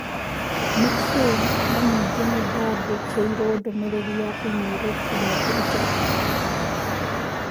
nĩ kĩĩ na ningĩ nĩndandĩkĩirũo ndũmĩrĩri ya i-mīrū kiumia kĩhĩtũku